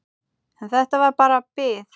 En þetta var bara bið.